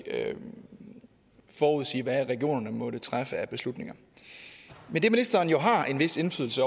ikke forudsige hvad regionerne måtte træffe af beslutninger men det ministeren jo har en vis indflydelse